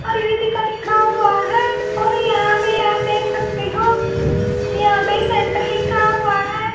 परिधि दी लिखा हुआ है और यहां पे आप देख सकते हो यहां पे एक सेंटर लिखा हुआ है।